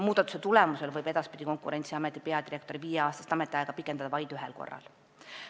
Muudatuse tulemusel võib Konkurentsiameti peadirektori viieaastast ametiaega edaspidi pikendada vaid ühel korral.